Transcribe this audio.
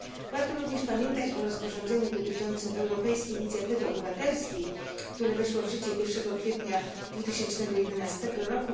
Warto również pamiętać o rozporządzeniu dotyczącym europejskiej inicjatywy obywatelskiej, które weszło w życie 1 kwietnia 2011 r.